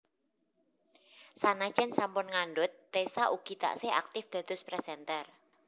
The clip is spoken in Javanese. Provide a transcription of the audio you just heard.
Sanajan sampun ngandhut Tessa ugi taksih aktif dados presenter